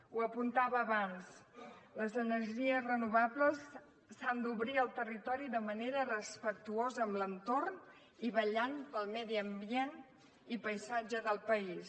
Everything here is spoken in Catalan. ho apuntava abans les energies renovables s’han d’obrir al territori de manera respectuosa amb l’entorn i vetllant pel medi ambient i paisatge del país